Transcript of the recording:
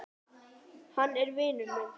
Hann er vinur minn.